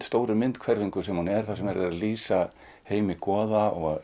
stóru myndhverfingu sem hún er þar sem er verið að lýsa heimi goða og